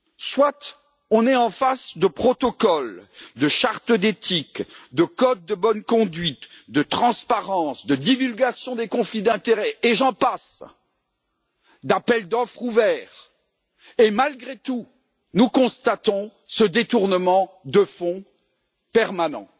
Soit nous sommes en face de protocoles, de chartes d'éthique, de codes de bonne conduite, de principes de transparence, de divulgations de conflits d'intérêt, et j'en passe, d'appels d'offres ouverts et, malgré tout, nous constatons ce détournement de fonds permanent.